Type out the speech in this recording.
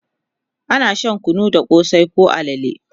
ana Shan kunu da kosai koh alale